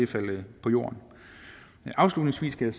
til jorden afslutningsvis skal